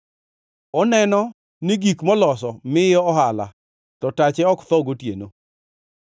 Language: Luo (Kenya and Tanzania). Oneno ni gik moloso miye ohala to tache ok tho gotieno.